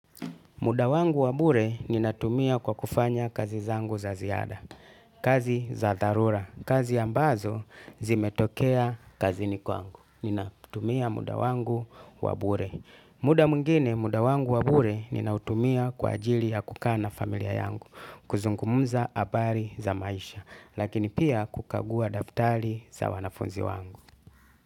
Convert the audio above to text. Muda wangu wa bure ninatumia kwa kufanya kazi zangu za ziada, kazi za dharura, kazi ambazo zimetokea kazini kwangu. Ninatumia muda wangu wabure. Muda mwingine, muda wangu wa bure ninatumia kwa ajili ya kukaa na familia yangu, kuzungumza habari za maisha, lakini pia kukagua daftali za wanafunzi wangu.